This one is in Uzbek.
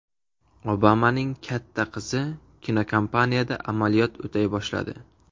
Obamaning katta qizi kinokompaniyada amaliyot o‘tay boshladi.